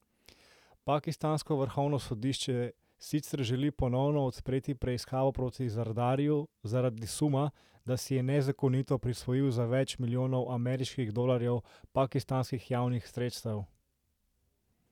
Pakistansko vrhovno sodišče sicer želi ponovno odpreti preiskavo proti Zardariju zaradi suma, da si je nezakonito prisvojil za več milijonov ameriških dolarjev pakistanskih javnih sredstev.